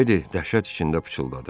Miledi dəhşət içində pıçıldadı.